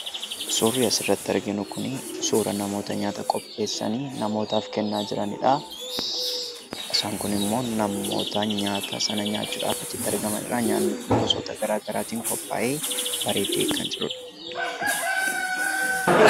Suurri asirratti argaa jirru kun suura namoota nyaata qopheessanii, namootaaf kennaa jiranidha. Warreen kaan immoo namoota nyaata sana nyaachuudhaaf achitti argamanidha. Nyaatichis gosoota garaa garaatiin qophaa'ee bareedee kan jirudha.